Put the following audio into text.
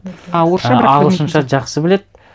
ағылшынша жақсы біледі